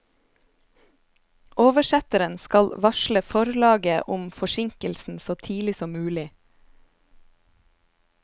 Oversetteren skal varsle forlaget om forsinkelsen så tidlig som mulig.